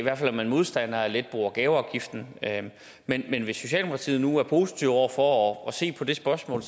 er man modstandere af at lette bo og gaveafgiften men hvis socialdemokratiet nu er positiv over for at se på det spørgsmål